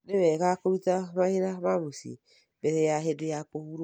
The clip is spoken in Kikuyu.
Nĩ wega kũruta mawĩra ma mũciĩ mbere ya hĩndĩ ya kũhurũka.